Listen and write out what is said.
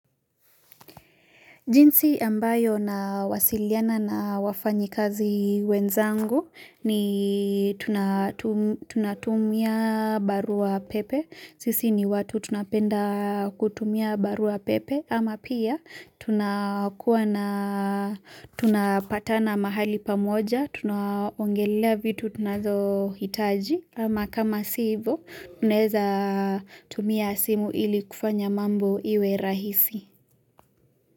Jinsi ambayo nawasiliana na wafanyikazi wenzangu ni tunatumia barua pepe, sisi ni watu tunapenda kutumia barua pepe, ama pia tunakuwa tunapatana mahali pamoja, tunaongelelea vitu tunazohitaji, ama kama si hivyo tunaweza tumia simu ili kufanya mambo iwe rahisi.